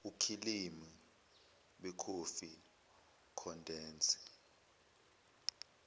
okhilimu bekhofi nekhondensi